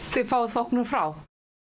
þið fáið þóknun frá